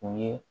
U ye